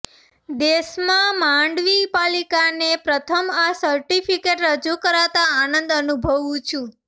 દેશમાં માંડવી પાલિકાને પ્રથમ આ સર્ટિફિકેટ રજૂ કરાતા આનંદ અનુભવું છું